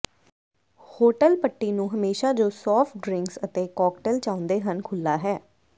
hotel ਪੱਟੀ ਨੂੰ ਹਮੇਸ਼ਾ ਜੋ ਸਾਫਟ ਡਰਿੰਕਸ ਅਤੇ ਕਾਕਟੇਲ ਚਾਹੁੰਦੇ ਹਨ ਖੁੱਲ੍ਹਾ ਹੈ